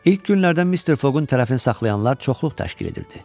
İlk günlərdən Mister Fogun tərəfini saxlayanlar çoxluq təşkil edirdi.